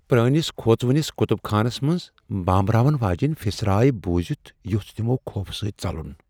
پرٲنِس، كھوژوٕنِس كُتُب خانس منز بامبراون واجیٚنۍ پھسرارے بوٗزِتھ ،یوٚژھ تِمو خوفہٕ سٕتۍ ژلُن۔